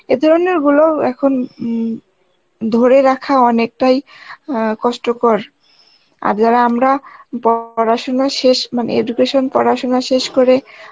এ ধরনের গুলোউ এখন উম ধরে রাখা অনেকটাই অ্যাঁ কষ্টকর. আর যারা আমরা পড়াশোনা শেষ মানে education পড়াশোনা শেষ করে